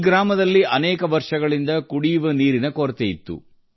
ಈ ಗ್ರಾಮದಲ್ಲಿ ಅನೇಕ ವರ್ಷಗಳಿಂದ ಕುಡಿಯುವ ನೀರಿನ ಕೊರತೆಯಿತ್ತು